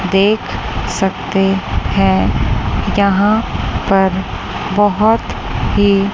देख सकते है यहा पर बहोत ही--